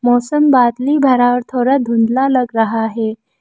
मौसम बादली भारा और थोड़ा धुधला लग रहा है।